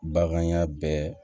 Bagan ya bɛɛ